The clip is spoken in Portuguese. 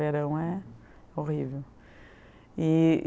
Verão é horrível. E